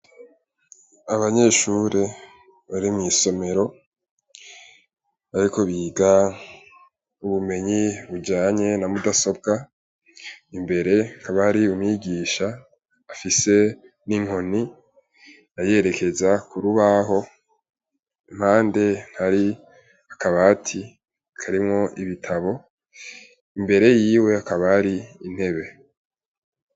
Abanyeshure bari mw'isomero, ariko biga ubumenyi bujanye na mudasobwa imbere nkabari umigisha afise n'inkoni ayerekeza kurubaho mpande ntari akabati akarimwo ibitabo imbere yiwe akabari intebe.